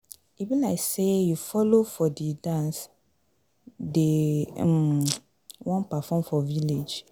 E be like say you follow for the dance dey um wan perform for village.